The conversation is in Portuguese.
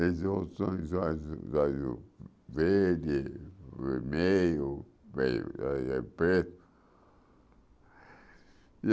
olhos saíam verde, vermelho,